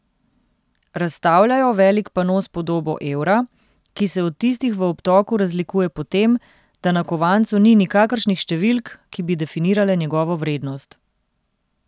Razstavljajo velik pano s podobo evra, ki se od tistih v obtoku razlikuje po tem, da na kovancu ni nikakršnih številk, ki bi definirale njegovo vrednost.